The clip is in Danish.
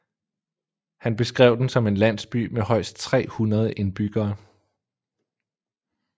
Han beskrev den som en landsby med højst 300 indbyggere